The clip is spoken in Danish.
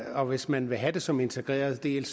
og hvis man vil have det som integreret del